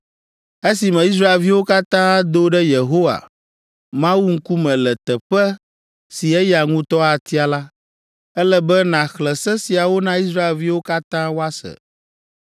esime Israelviwo katã ado ɖe Yehowa, Mawu ŋkume le teƒe si eya ŋutɔ atia la, ele be nàxlẽ se siawo na Israelviwo katã woase.”